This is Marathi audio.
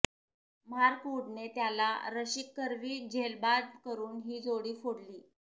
मार्क वुडने त्याला रशीदकरवी झेलबाद करून ही जोडी फोडली